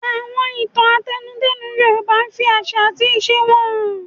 Àwọn ìtàn àtẹnudẹ́nu Yorùbá máa ń fi àṣà àti ìṣe wọn hàn.